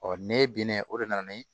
ne bena o de nana ni